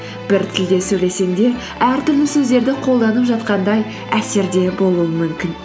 бір тілде сөйлесең де әртүрлі сөздерді қолданып жатқандай әсерде болуың мүмкін